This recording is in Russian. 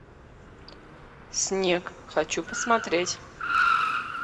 снег хочу посмотреть